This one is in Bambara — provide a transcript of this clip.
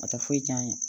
A tɛ foyi tiɲɛ an ye